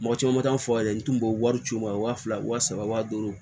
Mɔgɔ caman ma taa n fa ye n tun b'o wari ci u ma wa fila wa saba wa duuru